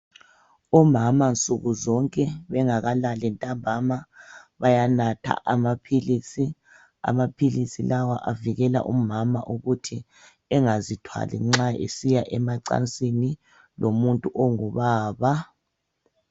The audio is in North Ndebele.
Omama nsukuzonke bengakalali bayanatha amaphilisi. Amaphilisi lawa avikela umama ukuthi engazithwali nxa esiya emacansini lomuntu ongubaba.